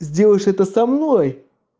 сделаешь это со мной